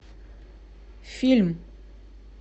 фильм